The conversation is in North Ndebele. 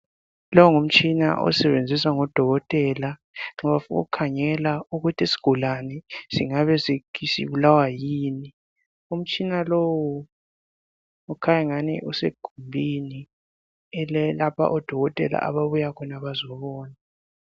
Lo ngumtshina osebenziswa ngodokotela nxa befuna ukukhangela ukuthi isigulane singabe sibulawa yini. Umtshina lowu ukhanyangani usegumbini elilapho odokotela ababuyakhona bazobona.